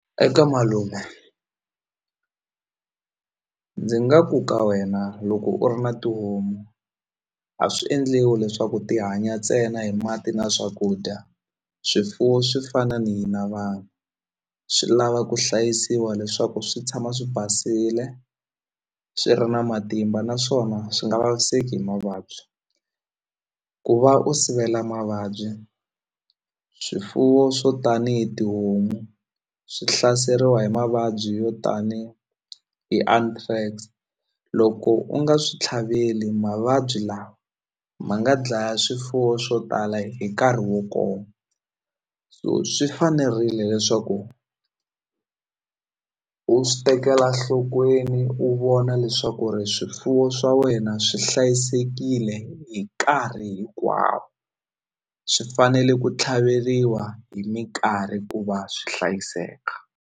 Eka malume ndzi nga ku ka wena loko u ri na tihomu a swi endliwi leswaku ti hanya ntsena hi mati na swakudya swifuwo swi fana ni hina vanhu swi lava ku hlayisiwa leswaku swi tshama swi basile swi ri na matimba naswona swi nga vaviseki hi mavabyi ku va u sivela mavabyi swifuwo swo tanihi tihomu swi hlaseriwa hi mavabyi yo tani hi loko u nga swi tlhaveli mavabyi lawa ma nga dlaya swifuwo swo tala hi nkarhi wo koma so swi fanerile leswaku u swi tekela nhlokweni u vona leswaku ri swifuwo swa wena swi hlayisekile hi nkarhi hinkwawo swi fanele ku tlhaveriwa hi minkarhi ku va swi hlayiseka.